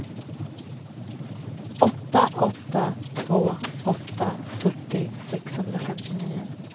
åtta åtta två åtta fyrtio sexhundrafemtionio